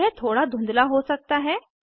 यह थोड़ा धुंधला हो सकता है